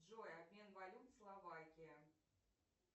джой обмен валют словакия